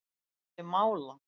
Kemur ekki til mála.